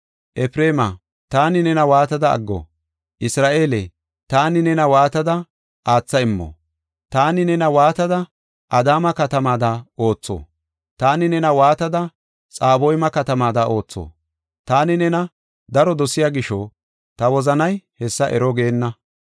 Efreemi, taani nena waatada aggo? Isra7eele, taani nena waatada aatha immo? Taani nena waatada Adaama katamaada ootho? Taani nena waatada Xaboyma katamaada ootho? Taani nena daro dosiya gisho ta wozanay hessa ero geenna.